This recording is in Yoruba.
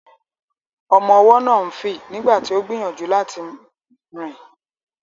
Ọmọ ọwọ́ náà ń fì nígbà tí ó gbìyànjú láti rìn.